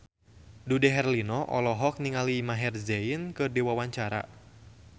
Dude Herlino olohok ningali Maher Zein keur diwawancara